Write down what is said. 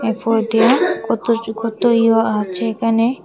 ফো দিয়া কতজ কত য়ো আছে এখানে।